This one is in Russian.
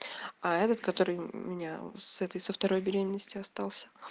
а этот который меня с этой со второй беременности остался